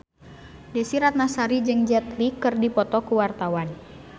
Desy Ratnasari jeung Jet Li keur dipoto ku wartawan